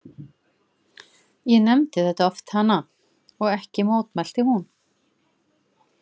Ég nefndi þetta oft hana og ekki mótmælti hún.